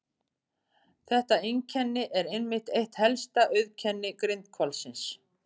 Þetta einkenni er einmitt eitt helsta auðkenni grindhvalsins.